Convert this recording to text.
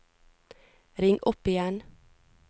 ring opp igjen